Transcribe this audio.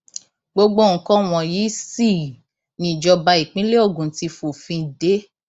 gbogbo nǹkan wọnyí sì nìjọba ìpínlẹ ogun ti fòfin dé